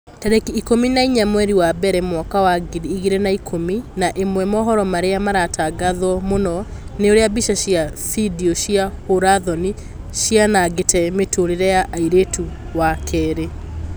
Tarĩki ikũmi na inya mweri wa mbere mwaka wa ngiri igĩrĩ na ikũmi na ĩmwe mohoro marĩa maratangatwo mũno ni ũrĩa mbica cia bindio cia hũra-thoni cianangĩte mĩtũrĩre ya airĩtu wa kerĩ